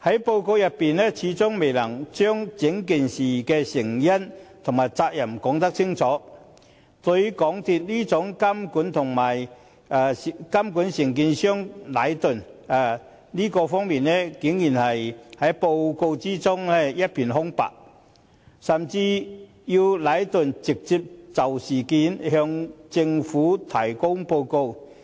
報告未能清楚說明事件的成因和責任，對於港鐵公司如何監管承建商禮頓建築有限公司，報告竟然隻字未提，甚至要禮頓直接就事件向政府提交報告。